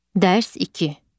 Dərs 2.